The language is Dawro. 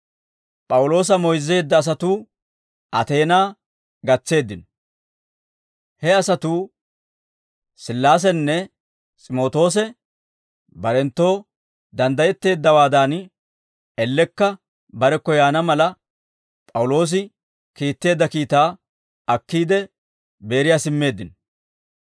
P'awuloosa moyzzeedda asatuu Ateenaa gatseeddino; he asatuu Sillaasenne S'imootoose barenttoo danddayetteeddawaadan, ellekka barekko yaana mala, P'awuloosi kiitteedda kiitaa akkiide, Beeriyaa simmeeddino.